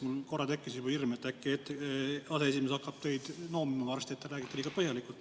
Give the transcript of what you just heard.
Mul korra tekkis juba hirm, et äkki aseesimees hakkab sind noomima varsti, et sa räägid liiga põhjalikult.